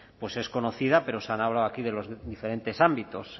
pues es conocida pero se han hablado aquí de los diferentes ámbitos